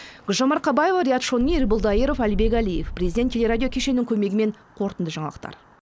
гүлжан марқабаева риат шони ербол дайыров әлібек әлиев президент телерадио кешенінің көмегімен қорытынды жаңалықтар